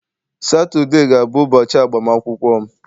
Saturday ga-abụ ụbọchị agbamakwụkwọ m.